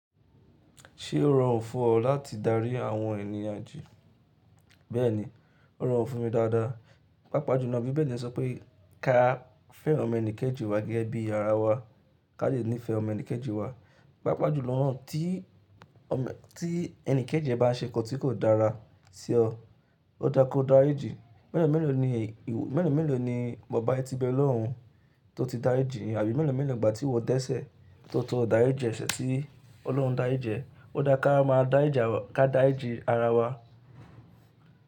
Ṣé ó rọrùn fún ọ láti darí àwọn ènìyàn jì? Bẹ́ẹ̀ni, ó rọrùn fún mi dáadáa. Pápá jùlọ bí Bíbélì sọ pé ká fẹ́ràn ọmọ ẹnìkẹ́jì wa gẹ́gẹ́ bí ara wa, ká lè nífẹ̀ẹ́ ọmọ ẹnìkẹ́jì wa. Pápá jùlọ nàá tí ẹni kẹ́jì ẹ bá ṣẹkọ̀ tí kò dára sí ọ, ó dára kí o dáa jẹ. Mẹ́lo mẹ́lo ni ìwọ, mẹ́lo mẹ́lo ni bàbá yín ti bẹ̀ lọ́rùn tó ti dárí jì àbí mẹ́lo mẹ́lo ni ìgbà tí ìwọ dẹ́sẹ̀ tó toro ìdáríjì ẹsẹ̀ tí Ọlọ́run dári ji e. Ó dára ká máa dárìjì ara wa, ká dáríji ara wa.